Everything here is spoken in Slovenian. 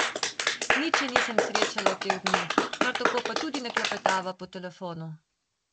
Nič je nisem srečala v teh dneh, kar tako pa tudi ne klepetava po telefonu.